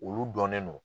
Olu dɔnnen don